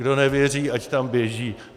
Kdo nevěří, ať tam běží.